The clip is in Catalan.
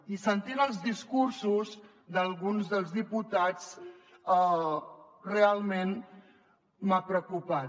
i sentint els discursos d’alguns dels diputats realment m’ha preocupat